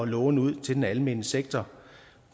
låne ud til den almene sektor